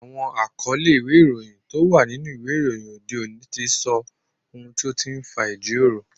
Àwọn àkọlé ìwé ìròyìn tó wà nínú ìwé ìròyìn òde òní ti sọ ohun tó ti ń fa ìjíròrò